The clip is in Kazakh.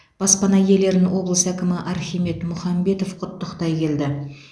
баспана иелерін облыс әкімі архимед мұхамбетов құттықтай келді